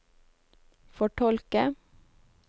fortolke